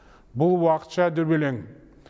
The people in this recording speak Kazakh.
бұл уақытша дүрбелең